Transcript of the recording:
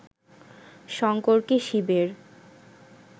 শঙ্করকে শিবের